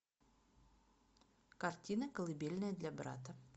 картина колыбельная для брата